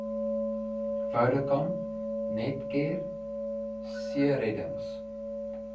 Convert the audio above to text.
vodacom netcare seereddings